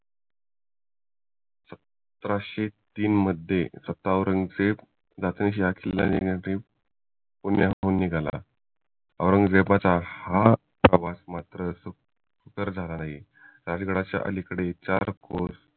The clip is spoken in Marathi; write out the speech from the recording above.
सतराशे तीन मध्ये स्वतः औरंगजेब राजगड चा किल्ला घेण्यासाठी पुण्याहून निघाला औरंगजेबाचा हा ओरवास मात्र सुखर झाला नाही राजगडाच्या अलीकडे चार कोस